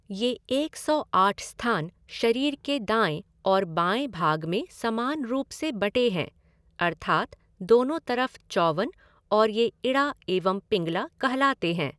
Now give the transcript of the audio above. ये एक सौ आठ स्थान शरीर के दाएं और बाएं भाग में समान रूप से बंटे हैं अर्थात दोनों तरफ चौवन और ये इड़ा एवं पिंगला कहलाते हैं।